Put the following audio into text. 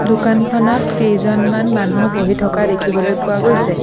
দোকানখনত কেইজনমান মানুহ বহি থকা দেখিবলৈ পোৱা গৈছে।